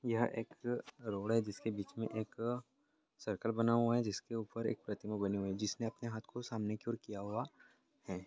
यहां एक रोड है। जिसके बीच में एक सर्किल बना हुआ है। जिसके ऊपर एक प्रतिमा बानी हुई है। जिसने अपने हाथ को सामने की और किया हुआ है।